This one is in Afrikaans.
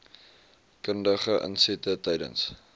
kundige insette tydens